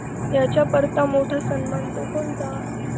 याच्या करता मोठा सन्मान तो कोणता